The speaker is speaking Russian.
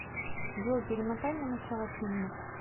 джой перемотай на начало фильма